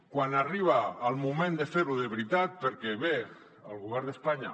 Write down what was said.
quan arriba el moment de fer ho de veritat perquè bé el govern d’espanya